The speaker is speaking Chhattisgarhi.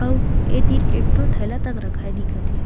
अउ ये तीर एक ठो थैला तक रखाए दिखत हे।